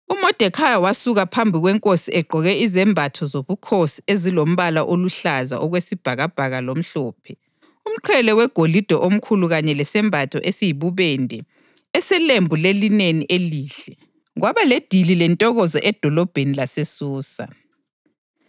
UModekhayi wasuka phambi kwenkosi egqoke izembatho zobukhosi ezilombala oluhlaza okwesibhakabhaka lomhlophe, umqhele wegolide omkhulu kanye lesembatho esiyibubende eselembu lelineni elihle. Kwaba ledili lentokozo edolobheni laseSusa.